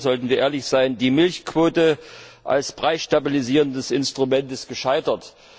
Erstens sollten wir ehrlich sein Die Milchquote als preisstabilisierendes Instrument ist gescheitert.